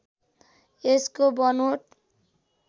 यसको बनोट